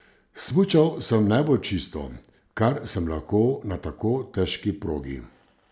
Smučal sem najbolj čisto, kar sem lahko na tako težki progi.